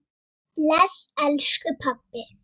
Bless, elsku pabbi.